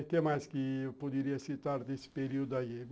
O que mais que eu poderia citar desse período aí?